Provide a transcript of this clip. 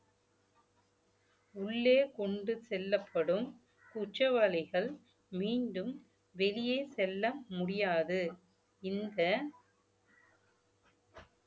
உள்ளே கொண்டு செல்லப்படும் குற்றவாளிகள் மீண்டும் வெளியே செல்ல முடியாது இந்த